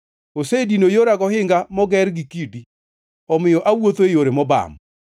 Osedino yora gohinga moger gi kidi; omiyo awuotho e yore mobam.